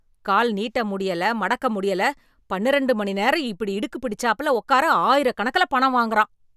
கால் நீட்ட முடியல, மடக்க முடியல, பன்னிரெண்டு மணி நேரம் இப்படி இடுக்கு பிடிச்சாப்ல உட்கார ஆயிரக்கணக்குல பணம் வாங்குறான்.